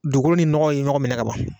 Dugukolo ni nɔgɔ ye ɲɔgɔn minɛ kaban.